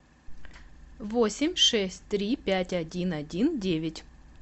восемь шесть три пять один один девять